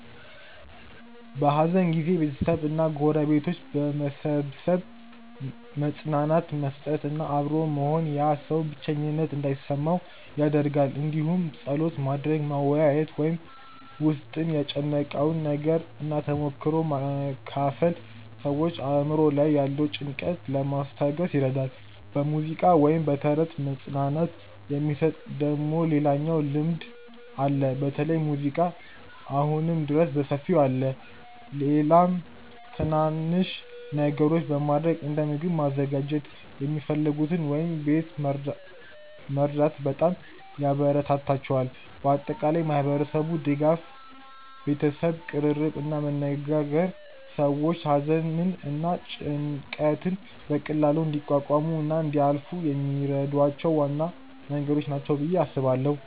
በሐዘን ጊዜ ቤተሰብ እና ጎረቤቶች በመሰብሰብ መጽናናት መስጠት እና አብሮ መሆን ያ ሰው ብቸኝነት እንዳይሰማው ይደረጋል እንዲሁም ጸሎት ማድረግ፣ መወያየት ወይም በ ውስጥን የጨነቀውን መናገር እና ተሞክሮ መካፈል ሰዎችን አእምሮ ላይ ያለውን ጭንቀት ለማስታገስ ይረዳል። በሙዚቃ ወይም በተረት መጽናናት የሚሰጥ ደግሞ ሌላኛው ልምድ አለ በተለይ ሙዚቃ አሁንም ድረስ በሰፊው አለ። ሌላም ትናናንሽ ነገሮች በማረግ እንደ ምግብ ማዘጋጀት የሚፈልጉትን ወይም ቤት መርዳት በጣም ያበራታታቸዋል። በአጠቃላይ ማህበረሰቡ ድጋፍ፣ ቤተሰብ ቅርርብ እና መነጋገር ሰዎች ሐዘንን እና ጭንቀትን በቀላሉ እንዲቋቋሙ እና እንዲያልፏ የሚረዷቸው ዋና መንገዶች ናቸው ብዬ አስባለው።